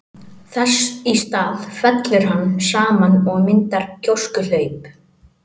Þess í stað fellur hann saman og myndar gjóskuhlaup.